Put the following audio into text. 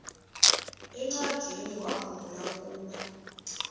encwadiniwakhu mbula ukuba